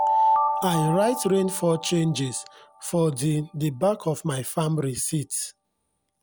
i write rainfall changes for di di back of my farm risit